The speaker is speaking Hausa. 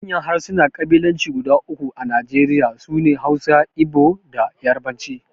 Manyan harsunan kabilanci guda uku a Najeriya su ne Hausa, Igbo, da Yarbanci.